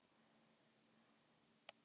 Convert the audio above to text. Við spiluðum alltof hægt og fyrirsjáanlega.